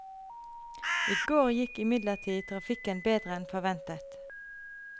I går gikk imidlertid trafikken bedre enn forventet.